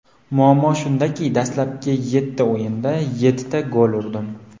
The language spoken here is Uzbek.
Muammo shundaki, dastlabki yetti o‘yinda yettita gol urdim.